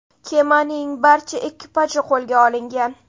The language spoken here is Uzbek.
Kemaning barcha ekipaji qo‘lga olingan.